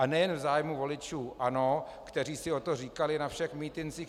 A nejen v zájmu voličů ANO, kteří si o to říkali na všech mítincích.